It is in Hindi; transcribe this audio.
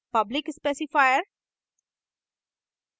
public specifier